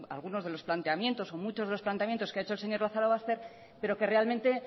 argumentos algunos de los planteamientos o muchos de los planteamientos que ha hecho el señor lazarobaster pero que realmente